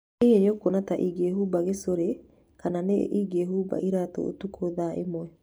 Hihi nĩ ũkuona ta ingĩĩhumba gĩcũrĩ, kana nĩ ingĩĩhumba iratũ ũtukũ thaa ĩmwe?